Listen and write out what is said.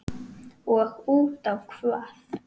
Og útá hvað?